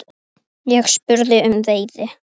Ég spurði um veiði.